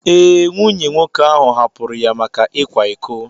Ee, nwunye nwoke ahụ hapụrụ ya maka ịkwa iko.